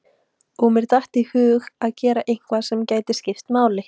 Og mér datt í hug að gera eitthvað sem gæti skipt máli.